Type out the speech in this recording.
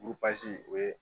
o ye